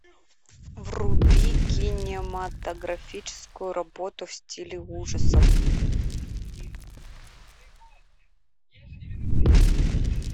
вруби кинематографическую работу в стиле ужасов